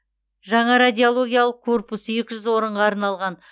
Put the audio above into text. жаңа радиологиялық корпус екі жүз орынға арналған